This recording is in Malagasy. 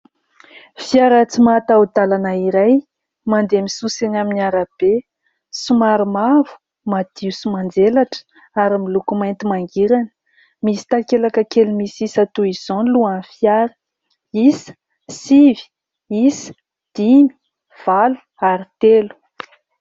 Fiara tsy mataho-dalana iray, mandeha misosa eny amin'ny arabe. Somary mavo, madio sy manjelatra ary miloko mainty mangirana. Misy takelaka kely misy isa toy izao ny lohan'ny fiara isa sivy, isa dimy, valo ary telo.